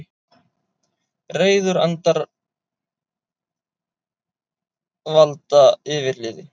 Reiðir andar valda yfirliði